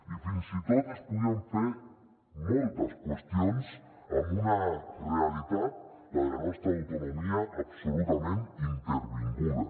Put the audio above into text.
i fins i tot es podien fer moltes qüestions amb una realitat la de la nostra autonomia absolutament intervinguda